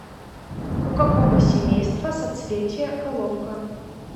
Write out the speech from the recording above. у какого семейства соцветие головка